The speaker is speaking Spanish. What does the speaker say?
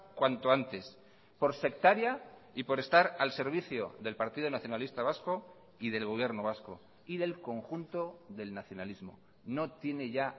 cuanto antes por sectaria y por estar al servicio del partido nacionalista vasco y del gobierno vasco y del conjunto del nacionalismo no tiene ya